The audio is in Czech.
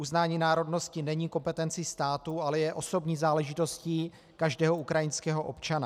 Uznání národnosti není kompetencí státu, ale je osobní záležitostí každého ukrajinského občana.